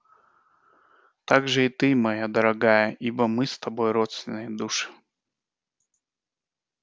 также и ты моя дорогая ибо мы с тобой родственные души